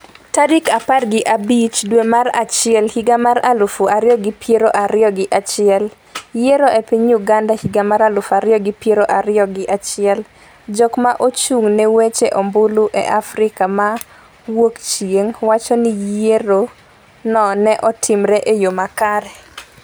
tarik apar gi abich dwe mar achiel higa mar aluf ariyo gi piero ariyo gi achiel .Yiero e piny Uganda higa mar aluf ariyo gi piero ariyo giachiel: Jok ma ochung' ne weche ombulu e Afrika ma Wuokchieng' wacho ni yiero no ne otimore e yo makare,